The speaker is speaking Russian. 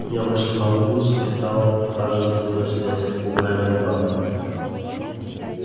я вышла на улицу и стала прохаживаться туда-сюда с попугаем баклановым